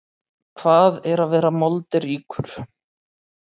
Hvað er að vera moldríkur?